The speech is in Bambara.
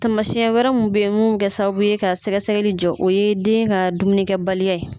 Tamasiyɛn wɛrɛ mun bɛ mun bɛ kɛ sababu ye ka sɛgɛsɛgɛli jɔ o ye den ka dumunikɛbaliya ye